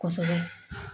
Kosɛbɛ